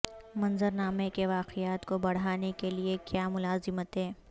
منظر نامے کے واقعات کو بڑھانے کے لئے کیا ملازمتیں